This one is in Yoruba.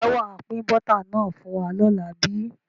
Ǹjẹ́ wàá pin Bọ́tà náà fún wa lọ́la bíi?